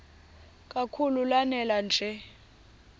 kakhulu lanela nje